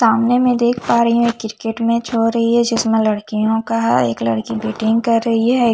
सामने में देख पा रही हूँ की क्रिकेट मैच हो रही है जिसमे लड़कियों का है एक लड़की बैटिंग कर रही है।